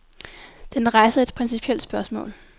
Den rejser et principielt spørgsmål.